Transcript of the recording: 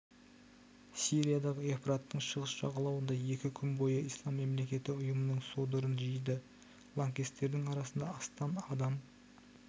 сириядағы евфраттың шығыс жағалауында екі күн бойына ислам мемлекеті ұйымының содырын жойды лаңкестердің арасында астам адам